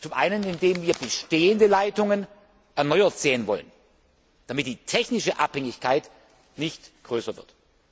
Zum einen, indem wir bestehende Leitungen erneuert sehen wollen, damit die technische Abhängigkeit nicht größer